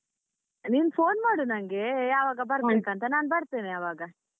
ನೀನ್ phone ಮಾಡು ನಂಗೆ ಯಾವಾಗ ಬರ್ಬೇಕಂತ ನಾನ್ ಬರ್ತೇನೆ ಅವಾಗ.